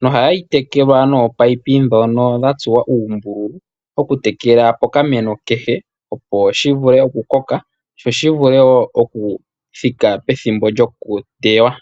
noha yi tekelwa noopayipi ndhono dha tsuwa uumbululu okutekela pokameno kehe, opo shi vule okukoka sho shi vule wo oku thika pethimbo lyokuteywa.